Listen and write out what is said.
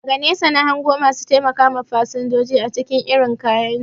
Daga nesa na hango masu taimakawa fasanjoji acikin irin kayansu